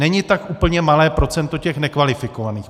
Není tak úplně malé procento těch nekvalifikovaných.